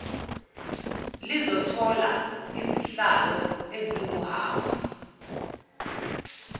lizothola izihlalo ezinguhhafu